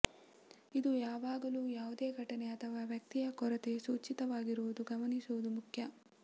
ಇದು ಯಾವಾಗಲೂ ಯಾವುದೇ ಘಟನೆ ಅಥವಾ ವ್ಯಕ್ತಿಯ ಕೊರತೆ ಸೂಚಿತವಾಗಿರುತ್ತದೆ ಗಮನಿಸುವುದು ಮುಖ್ಯ